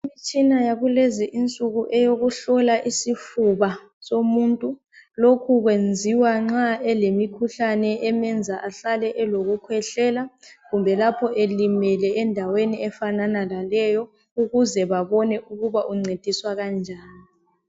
Imitshina yakulezi insuku eyokuhlola isifuba simuntu lokhu kwenziwa nxa emenza ahlale elokukhwehlela kumbe lapho elimele endaweni efana laleyo ukuze babone ukubana uncediswa kanjani